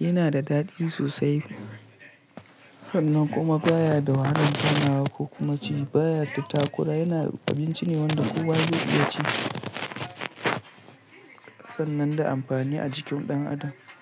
Yana da daɗi sosai sannan kuma baya da wahalan taunawa ko kuma ci. Baya da takura, yana abinci ne wanda kowa zai iya ci sannan da amfani a jikin ɗan adam.